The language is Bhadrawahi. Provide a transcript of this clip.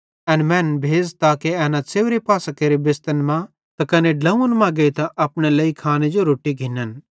एन मैनन् भेज़ ताके एना च़ेव्रे पासां केरे बेस्तन त कने ड्लोंव्वन मां गेइतां अपने लेइ खाने जो रोट्टी घिन्न